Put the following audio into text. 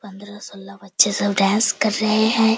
पंद्रह-सोलह बच्चे सब डांस कर रहे हैं।